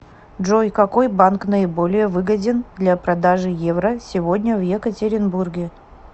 джой какой банк наиболее выгоден для продажи евро сегодня в екатеринбурге